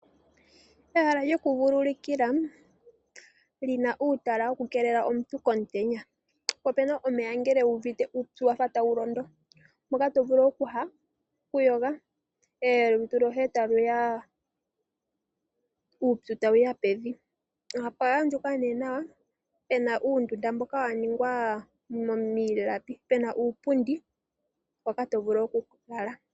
Ehala lyokuvululukilwa li na uutala wokukeelela omuntu komutenya. Opu omeya ngele wu uvite uupyu wa fa tawu londo, mpoka to vulu okuyoga olutu lwoye uupyu tawu ya pevi. Opwa andjuka nawa pu na uundunda mboka wa ningwa miilapi nuupundi mpoka to vulu okulala.